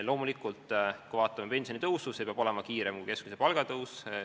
Loomulikult, pensionitõus peab olema kiirem kui keskmise palga tõus.